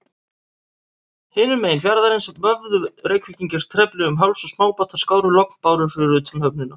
Hinum megin fjarðarins vöfðu Reykvíkingar trefli um háls, og smábátar skáru lognbárur fyrir utan höfnina.